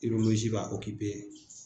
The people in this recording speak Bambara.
ba